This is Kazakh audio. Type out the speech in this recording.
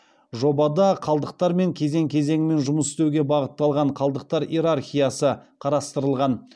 жобада қалдықтармен кезең кезеңімен жұмыс істеуге бағытталған қалдықтар иерархиясы қарастырылған